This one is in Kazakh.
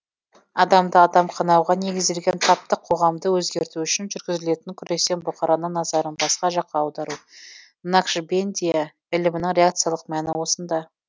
адамды адам қанауға негізделген таптық қоғамды өзгерту үшін жүргізілетін күрестен бұқараның назарын басқа жаққа аудару накшбендия ілімінің реакциялық мәні осында